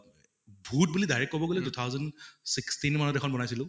ভূত বুলি direct কʼব গʼলে two thousand sixteen মানত এখন বনাইছিলো